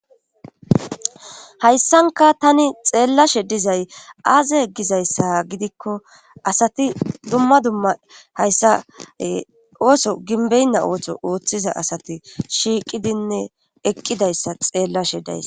hayssanka tani xeellashe dizay aaze gizayssa gidikko asati dumma dumma haysse ooso ginbbeynna ooththo ooththiza asati shiiqidinne eqqidayssa xeellashe days